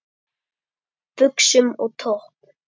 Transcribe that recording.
Buxum og topp?